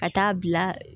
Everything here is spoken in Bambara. Ka taa bila